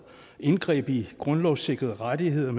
indgreb i grundlovssikrede rettigheder